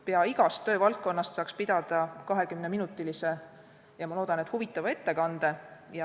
Pea igast töövaldkonnast saaks pidada 20-minutilise – ja ma loodan, et huvitava – ettekande.